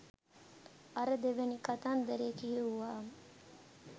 අර දෙවැනි කතන්දරේ කියෙව්වාම